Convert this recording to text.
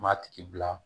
M'a tigi bila